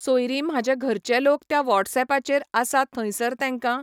सोयरी म्हाजे घरचें लोक त्या वॉटसऍप पाचेर आसा थंयसर तेंकां